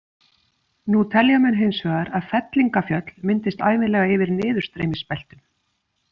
Nú telja menn hins vegar að fellingafjöll myndist ævinlega yfir niðurstreymisbeltum.